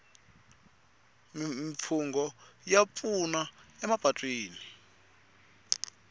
mimfungho ya pfuna emapatwini